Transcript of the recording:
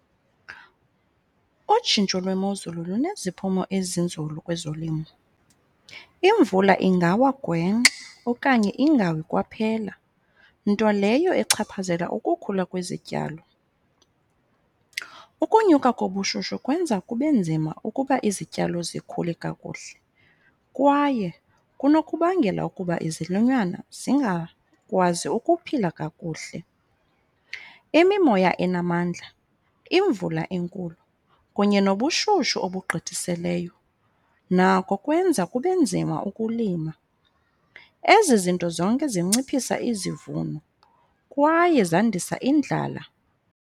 Utshintsho lwemozulu luneziphumo ezinzulu kwezolimo. Imvula ingawa gwenxa okanye ingawi kwaphela, nto leyo echaphazela ukukhula kwezityalo. Ukunyuka kobushushu kwenza kube nzima ukuba izityalo zikhule kakuhle kwaye kunokubangela ukuba izilwanyana zingakwazi ukuphila kakuhle. Imimoya enamandla, imvula enkulu kunye nobushushu obugqithiseleyo nako kwenza kube nzima ukulima. Ezi zinto zonke zinciphisa izivuno kwaye zandisa indlala.